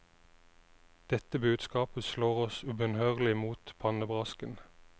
Dette budskapet slår oss ubønnhørlig mot pannebrasken.